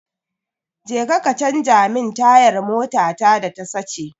Jeka ka canja min tayar motata da ta sace.